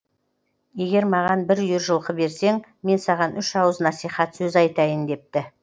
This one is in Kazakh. егер маған бір үйір жылқы берсең мен саған үш ауыз насихат сөз айтайын депті